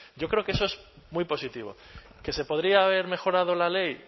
yo creo que eso es muy positivo que se podría haber mejorado la ley